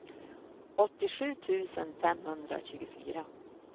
åttiosju tusen femhundratjugofyra